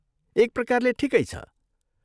एक प्रकारले, ठिकै छ।